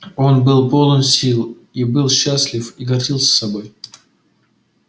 он был полон сил он и был счастлив и гордился собой